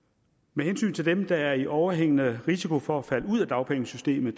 med hensyn til dem der er i overhængende risiko for at falde ud af dagpengesystemet